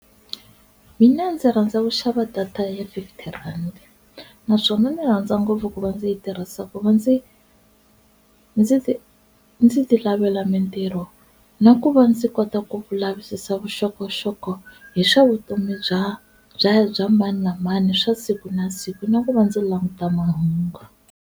Mina ndzi rhandza ku xava data ya fifty rand naswona ni rhandza ngopfu ku va ndzi yi tirhisa ku va ndzi ndzi ndzi ti lavela mitirho na ku va ndzi kota ku vulavisisi vuxokoxoko hi swa vutomi bya bya bya mani na mani swa siku na siku na ku va ndzi languta mahungu.